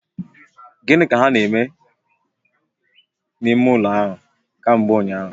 Gini ka ha na-eme di n'ime ulo ahu kambe unyahu?